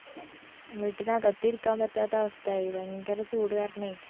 വീട്ടിനകത്തിരിക്കാൻ പറ്റാത്ത അവസ്ഥായി ഭയങ്കര ചൂട് കാരണേ